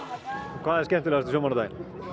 hvað er skemmtilegast við sjómannadaginn